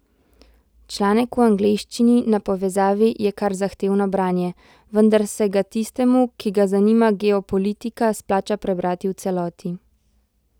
Članek v angleščini na povezavi je kar zahtevno branje, vendar se ga tistemu, ki ga zanima geopolitika, splača prebrati v celoti.